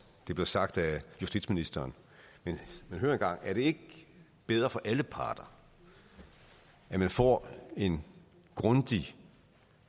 blev sagt af justitsministeren men hør en gang er det ikke bedre for alle parter at man får en grundig